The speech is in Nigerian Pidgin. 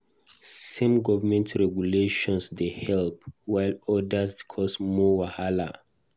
Some government regulations dey help, while odas dey cause more wahala.